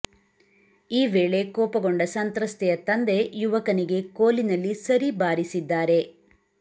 ಈ ವೇಳೆ ಕೋಪಗೊಂಡ ಸಂತ್ರಸ್ತೆಯ ತಂದೆ ಯುವಕನಿಗೆ ಕೋಲಿನಲ್ಲಿ ಸರಿ ಬಾರಿಸಿದ್ದಾರೆ